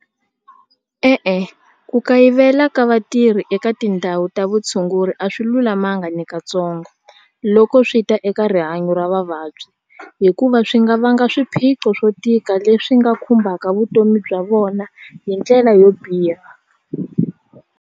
E-e ku kayivela ka vatirhi eka tindhawu ta vutshunguri a swi lulamanga nakatsongo loko swi ta eka rihanyo ra vavabyi hikuva swi nga vanga swiphiqo swo tika leswi nga khumbaka vutomi bya vona hi ndlela yo biha.